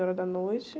horas da noite.